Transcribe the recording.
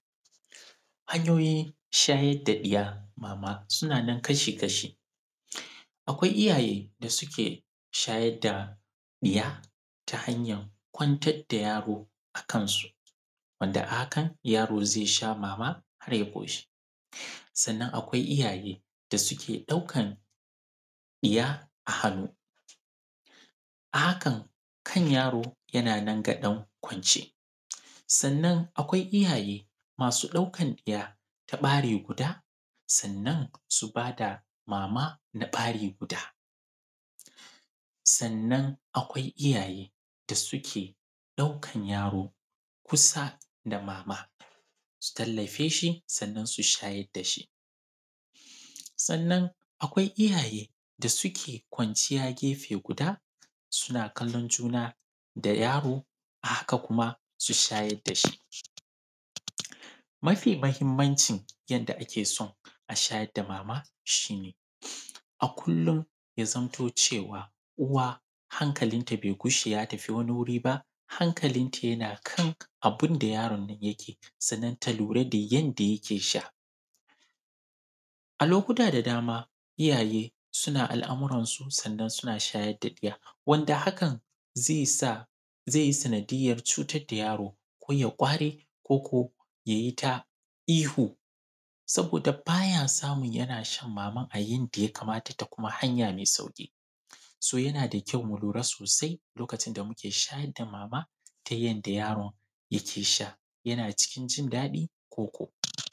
Hanyoyin shayar da ɗiya mama suna nan kashi-kashi. Akwai iyaye da suke shayar da ɗiya, ta hanyar kwantar da yaro a kansu, wanda a hakan yaro zai sha mama har ya ƙoshi. Sannan akwai iyaye da suke ɗaukan ɗiya a hannu. A hakan, kan yaro yana nan ga ɗan kwance. Sannan akwai iyaye masu ɗaukan ɗa ta ɓari guda, sannan su ba da mama na ɓari guda. Sannan akwai iyaye da suke ɗaukan yaro kusa da mama su tallafe shi, sannan su shayar da shi. Sannan akwai iyaye da suke kwanciya gefe guda, suna kallon juna da yaro, a haka kuma, su shayar da shi. Mafi mahimmancin yanda ake so a shayar da mama shi ne, a kullum ya zamto cewa, uwa hankalinta bai gushe ya tafi wani wuri ba, hankalinta yana kan abin da yaron nan yake, sannan ta lura da yanda yake sha. A lokuta da dama iyaye suna al’amuransu sannan suna shayar da ɗiya, wanda hakan zai sa, zai yi sanadiyyar cutar da yaro, ko ya ƙware, ko ko ya yi ta ihu, saboda ba ya samu yana shan maman a yanda ya kamata ta kuma hanya mai sauƙi. So, yana da kyau mu lura sosai lokacin da muke shayar da mama ta yanda yaron yake sha. Yana cikin jin daɗi ko ko....